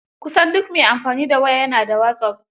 Kusan duk mai amfani da waya ya na da wasop.